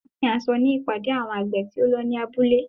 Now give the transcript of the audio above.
Wọ́n pín aṣọ ní ìpàdé àwọn àgbè tí ó lọ ní abúlé.